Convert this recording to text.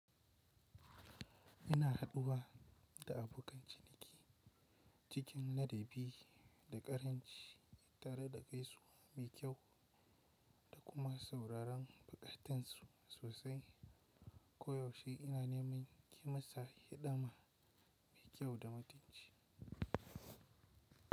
Ina haɗuwa da abokan ciniki cikin laɗabi da ƙarin ci, tare da gaisuwa mai kyau da kuma sauraron buƙatunsu sosai. Koyaushe ina neman yimasa hidima mai kyau da mutunci.